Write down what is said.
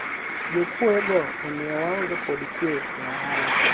jokuoye go omiyo waonge kod kwe e ohala